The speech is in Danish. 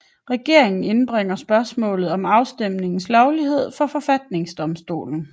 Regeringen indbringer spørgsmålet om afstemningens lovlighed for forfatningsdomstolen